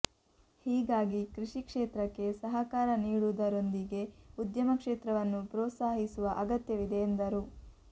ಹೀಗಾಗಿ ಕೃಷಿ ಕ್ಷೇತ್ರಕ್ಕೆ ಸಹಕಾರ ನೀಡುವುದರೊಂದಿಗೆ ಉದ್ಯಮ ಕ್ಷೇತ್ರವನ್ನೂ ಪ್ರೋತ್ಸಾಹಿಸುವ ಅಗತ್ಯವಿದೆ ಎಂದರು